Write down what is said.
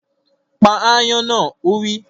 Pa ááyán náà! Ó wí